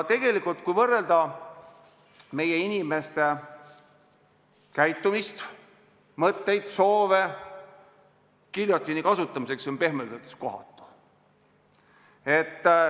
Kui võrrelda meie inimeste käitumist, mõtteid, soove giljotiini kasutamisega, siis see on pehmelt öeldes kohatu.